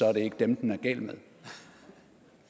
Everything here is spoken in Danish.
er det ikke dem den er gal med